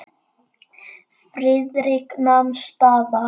Friðrik nam staðar.